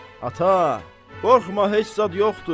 Ata, qorxma heç zad yoxdu.